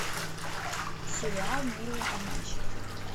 сериал милые обманщицы